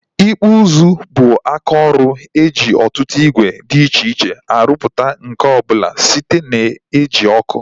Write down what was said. Ịkpụ ụzụ bụ aka ọrụ e ji ọtụtụ ìgwè dị iche iche arụpụta nkà ọbụla site na ị ji ọkụ